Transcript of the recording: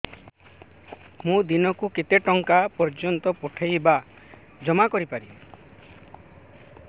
ମୁ ଦିନକୁ କେତେ ଟଙ୍କା ପର୍ଯ୍ୟନ୍ତ ପଠେଇ ବା ଜମା କରି ପାରିବି